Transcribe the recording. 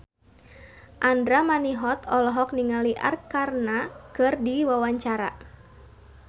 Andra Manihot olohok ningali Arkarna keur diwawancara